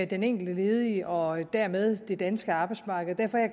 den enkelte ledige og dermed det danske arbejdsmarked derfor er